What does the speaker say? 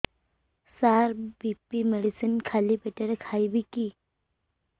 ସାର BP medicine ଖାଲି ପେଟରେ ଖାଇବି କି